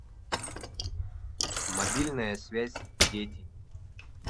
мобильная связь дети